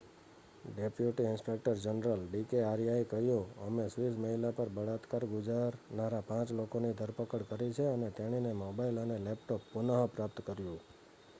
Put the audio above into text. "Deputy inspector general D K આર્યાએ કહ્યું "અમે સ્વિસ મહિલા પર બળાત્કાર ગુજારનારા 5 લોકોની ધરપકડ કરી છે અને તેણીનો મોબાઈલ અને લેપટોપ પુન: પ્રાપ્ત કર્યું .""